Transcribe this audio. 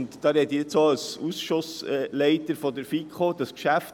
Ich spreche jetzt auch als Leiter des FiKo-Ausschusses: